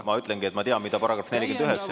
Ma ütlengi, et ma tean, mida § 49 ütleb.